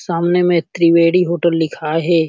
सामने में त्रिवेडी होटल लिखाए हे ।